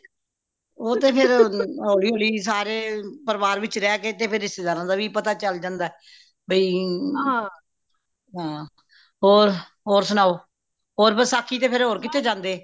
ਉਹ ਤੇ ਫੇਰ ਹੋਲੀ ਹੋਲੀ ਸਾਰੇ ਪਰਿਵਾਰ ਵਿੱਚ ਰਹ ਕੇ ਤੇ ਰਿਸ਼ਤੇਦਾਰਾ ਦੀ ਵੀ ਪਤਾ ਚਲ ਜਾਂਦਾ ਬਈ ਹਾਂ ਹੋਰ ਹੋਰ ਸੁਣਾਓ ਹੋਰ ਵਸਾਖ਼ੀ ਤੇ ਫੇਰ ਹੋਰ ਕਿਥੇ ਜਾਂਦੇ